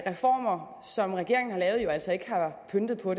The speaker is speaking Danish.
reformer som regeringen har lavet jo altså ikke har pyntet på